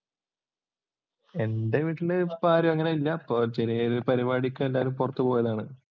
എൻ്റെ വീട്ടിലിപ്പോൾ അങ്ങനെ ആരുമില്ല. ഒരു പരിപാടിക്ക് എല്ലാരും പുറത്തു പോയതാണ്.